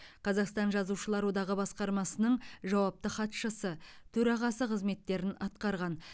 қазақстан жазушылар одағы басқармасының жауапты хатшысы төрағасы қызметтерін атқарған